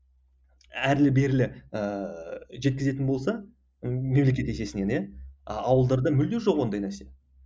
әрлі берлі ыыы жеткізетін болса мемлекет есесінен иә ауылдарда мүлде жоқ ондай нәрсе